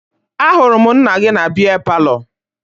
Ahụrụ m nna gị na bịa palọ